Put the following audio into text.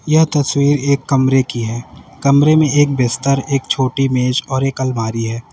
यह तस्वीर एक कमरे की है कमरे में एक बिस्तर एक छोटी मेज और एक अलमारी है।